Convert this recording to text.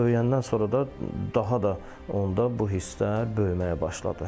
Böyüyəndən sonra da daha da onda bu hisslər böyüməyə başladı.